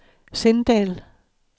Sindal